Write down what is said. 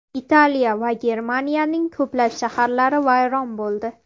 Italiya va Germaniyaning ko‘plab shaharlari vayron bo‘ldi.